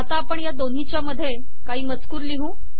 आता आपण या दोन्हीच्या मधे काही मजकूर लिहू